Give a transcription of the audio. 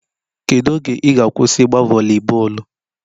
Kedu oge ị ga-akwụsị ịgba voli bọọlụ?